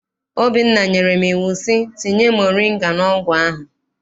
Obinna nyere m iwu sị, tinye moringa n'ọgwụ ahụ!